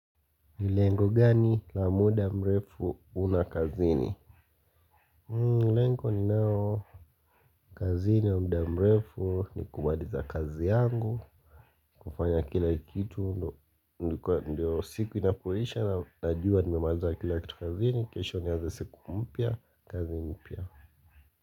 Ni lengo gani la muda mrefu una kazini? Lengo ni nao kazini ya muda mrefu ni kubamaliza kazi yangu. Kufanya kila kitu ndio siku inapoisha najua nimemaliza kila kitu kazini. Kesho nianze kesho nianze siku mpya kazi mpya.